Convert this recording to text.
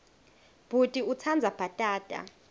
bhuti utsandza bhatata